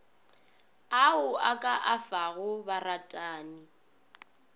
ao o ka afago baratani